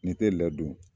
N'i tɛ ladon